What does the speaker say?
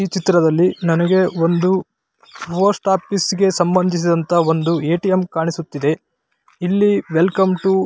ಈ ಚಿತ್ರದಲ್ಲಿ ನನಗೆ ಒಂದು ಪೋಸ್ಟ್ ಆಫೀಸ್ ಗೆ ಸಂಬಂದಿಸಿದ ಎ.ಟಿ.ಎಂ ಕಾಣಿಸುತ್ತಿದೆ ಇಲ್ಲಿ ವೆಲ್ಕಮ್ ಟು --